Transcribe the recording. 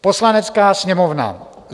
Poslanecká sněmovna